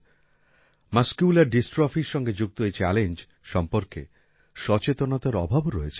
muscular Dystrophyর সঙ্গে যুক্ত এই চ্যালেঞ্জ সম্পর্কে সচেতনতার অভাবও রয়েছে